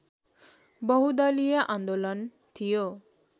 बहुदलीय आन्दोलन थियो